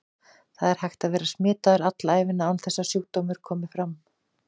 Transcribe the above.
Það er hægt að vera smitaður alla ævina án þess að sjúkdómur komi fram.